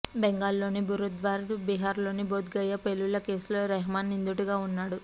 బెంగాల్లోని బురద్వాన్ బీహార్లోని బోద్గయా పేలుళ్ల కేసులో రెహ్మాన్ నిందితుడుగా ఉన్నాడు